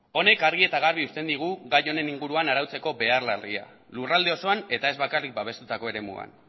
honek argi eta garbi usten digu gai honen inguruan arautzeko behar larria lurralde osoan eta ez bakarrik babestutako eremuan